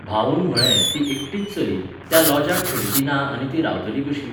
भाऊन म्हळें, ती एकटीच चली, त्या लॉजाक खिडकी ना आनी ती रावतली कशी?